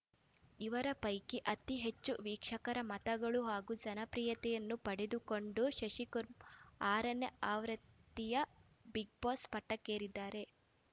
ಇವರ ಪೈಕಿ ಅತಿ ಹೆಚ್ಚು ವೀಕ್ಷಕರ ಮತಗಳು ಹಾಗೂ ಜನಪ್ರಿಯತೆಯನ್ನು ಪಡೆದುಕೊಂಡ ಶಶಿಕುರ್ಮ ಆರನೇ ಅವೃತ್ತಿಯ ಬಿಗ್‌ಬಾಸ್‌ ಪಟ್ಟಕ್ಕೇರಿದ್ದಾರೆ